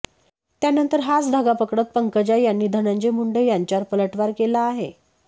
त्यानंतर हाच धागा पकडत पंकजा यांनी धनंजय मुंडे यांच्यावर पलटवार केला आहे